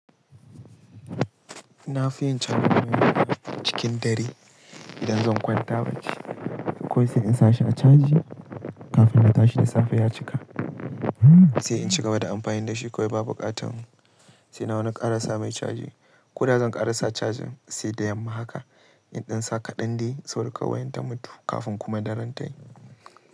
Na fi yin cajan waya na cikin dare idan zan kwanta bacci. Ko sai in sa shi a caji kafin na tashi da safe ya cika? Sai in ci gaba da amfani da shi kawai ba bukatan Sai na wani kara sa mai caji ko da zan kara sa cajin sai da yamma haka in ɗan sa ka ɗan dai saboda kar wayan ta mutu kafin kuma daren tayi.